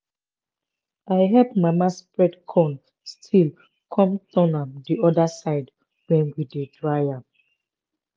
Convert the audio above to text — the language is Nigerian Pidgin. i help mama spread corn still come turn am the other side when we dey dry am.